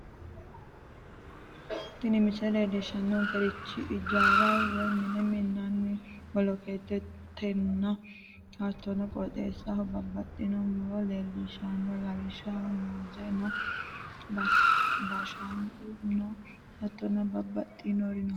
tini misile leellishshannorichi ijaara woy mine minnanni bolokeettenna hattono qooxeessaho babbaxxitino muro leellishshanno lawishshaho muuze no bashanqu no hattono babbaxxinori no.